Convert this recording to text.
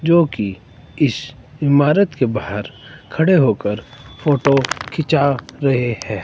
जोकि इस इमारत के बाहर खड़े होकर फोटो खींचा रहे हैं।